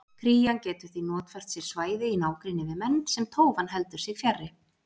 Krían getur því notfært sér svæði í nágrenni við menn sem tófan heldur sig fjarri.